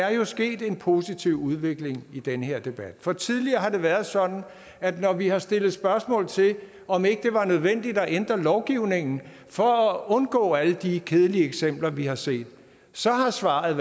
er sket en positiv udvikling i den her debat for tidligere har det været sådan at når vi har stillet spørgsmål til om ikke det var nødvendigt at ændre lovgivningen for at undgå alle de kedelige eksempler vi har set så har svaret